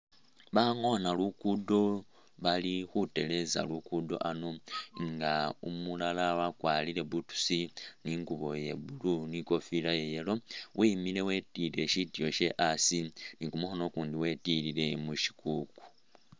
Abangoona lugudo bali khutereza lugudo ano nga umulala wakwarire boots ne ingubo iye blue ne ikofila iye yellow, wemile wetilile sitiiyo shewe asi ne kumukhono ukundi wetilile mushikuku.